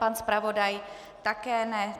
Pan zpravodaj také ne.